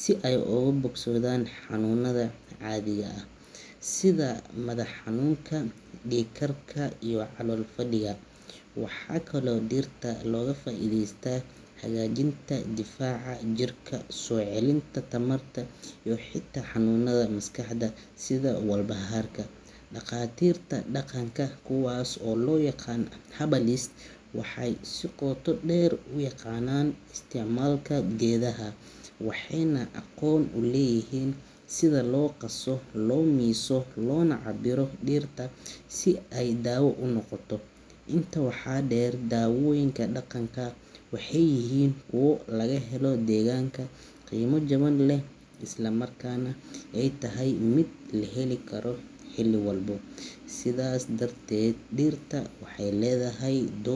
si ay uga bogsadaan xanuunada caadiga ah sida madax-xanuunka, dhiig-karka, iyo calool-fadhiga. Waxaa kaloo dhirta looga faa’iideystaa hagaajinta difaaca jirka, soo celinta tamarta, iyo xitaa xanuunada maskaxda sida walbahaarka. Dhaqaatiirta dhaqanka, kuwaas oo loo yaqaan herbalists, waxay si qoto dheer u yaqaanaan isticmaalka geedaha, waxayna aqoon u leeyihiin sida loo qaso, loo miiso, loona cabbiro dhirta si ay daawo u noqoto. Intaa waxaa dheer, daawooyinka dhaqanka waxay yihiin kuwo laga helo deegaanka, qiimo jaban leh, isla markaana ay tahay mid la heli karo xilli walba. Sidaas darteed, dhirta waxay leedahay doo.